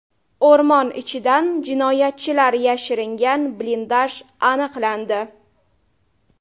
O‘rmon ichidan jinoyatchilar yashiringan blindaj aniqlandi.